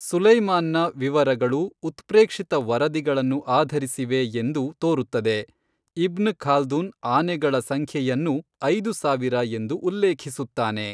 ಸುಲೈಮಾನ್ನ ವಿವರಗಳು ಉತ್ಪ್ರೇಕ್ಷಿತ ವರದಿಗಳನ್ನು ಆಧರಿಸಿವೆ ಎಂದು ತೋರುತ್ತದೆ, ಇಬ್ನ್ ಖಾಲ್ದುನ್ ಆನೆಗಳ ಸಂಖ್ಯೆಯನ್ನು ಐದು ಸಾವಿರ ಎಂದು ಉಲ್ಲೇಖಿಸುತ್ತಾನೆ.